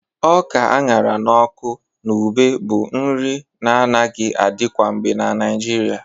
Ọka a ṅara n'ọkụ na ube bụ nri na-anaghi adi kwangbe na Naịjirịa